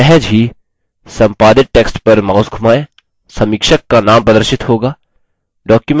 सहज ही संपादित टेक्स्ट पर माउस धुमाएँ समीक्षक का नाम प्रदर्शित होगा